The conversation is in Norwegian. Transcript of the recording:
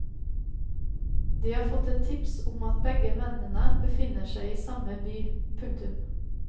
De har fått et tips om at begge mennene befinner seg i samme by. punktum